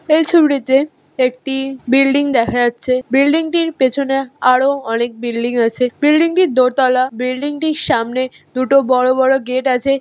এই ছুবটিতে একটি বিল্ডিং দেখা যাচ্ছে। বিল্ডিং -টির পেছনে আরও অনেক বিল্ডিং আছে। বিল্ডিং -টি দোতলা। বিল্ডিং -টির সামনে দুটো বড় বড় গেট আছে।